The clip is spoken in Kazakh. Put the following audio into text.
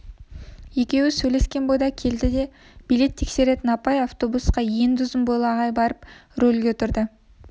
екеуі сөйлескен бойда келді де билет тексеретін апай автобусқа енді ұзын бойлы ағай барып рөлге отырды